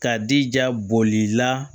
Ka dija boli la